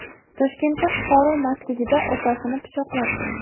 Toshkentda fuqaro mastligida opasini pichoqlab qo‘ydi.